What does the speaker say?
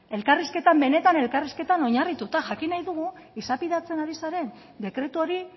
elkarrizketan benetan elkarrizketan oinarrituta jakin nahi dugu izapidetzen ari zaren dekretu hori